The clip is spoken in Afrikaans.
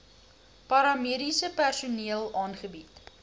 paramediese personeel aangebied